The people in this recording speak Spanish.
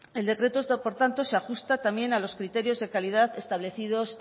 el decreto este por tanto se ajusta también a los criterios de calidad establecidos